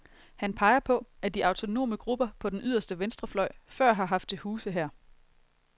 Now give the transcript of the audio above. Han peger på, at de autonome grupper på den yderste venstrefløj før har haft til huse her.